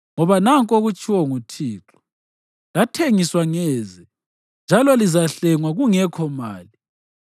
Ngoba nanku okutshiwo nguThixo: “Lathengiswa ngeze, njalo lizahlengwa kungekho mali.”